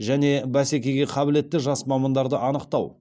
және бәскеге қабілетті жас мамандарды анықтау